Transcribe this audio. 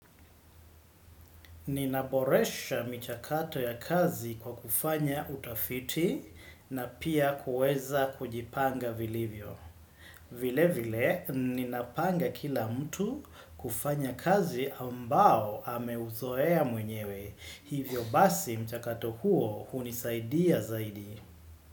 Ninaboresha michakato ya kazi kwa kufanya utafiti na pia kuweza kujipanga vilivyo. Vile vile, ninapanga kila mtu kufanya kazi ambao ameuzoea mwenyewe. Hivyo basi mchakato huo hunisaidia zaidi.